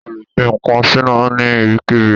O lè fi ǹkan síná ní ibikíbi.